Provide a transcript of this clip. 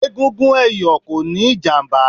Egungun ẹ̀yọ̀ kò níí ìjàmbá